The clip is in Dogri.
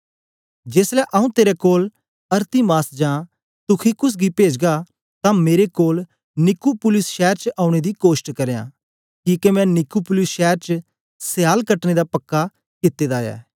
जेसलै आऊँ तेरे कोल अरतिमास जां तुखिकुस गी पेजगा तां मेरे कोल निकुपुलिस शैर च औने दी कोष्ट करयां किके मैं निकुपुलिस शैर च स्याल कटने दा पक्का कित्ते दा ऐ